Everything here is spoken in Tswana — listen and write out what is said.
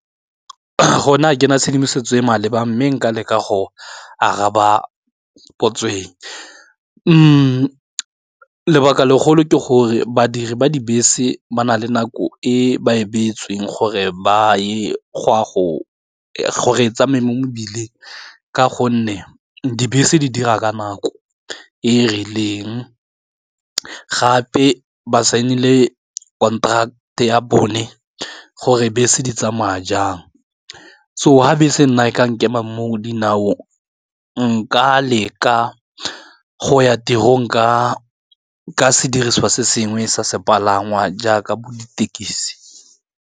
Go na ga ke na tshedimosetso e e maleba mme nka leka go araba potso e lebaka legolo ke gore badiri ba dibese ba na le nako e ba e beetsweng gore go re tsamaya mo mebileng, ka gonne dibese di dira ka nako e e rileng, gape ba signile contract ya bone gore bese di tsamaya jang so ga bese nna e ka nkema moo dinao nka leka go ya tirong ka sedirisiwa se sengwe sa sepalangwa jaaka bo ditekisi.